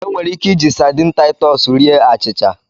Enwere ike iji sadini Taitus rie achịcha.